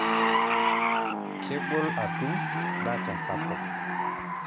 Kegol atum data sapuk.